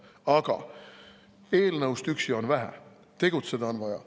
Aga eelnõust üksi on vähe, tegutseda on vaja.